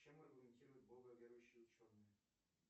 чем аргументируют бога верующие ученые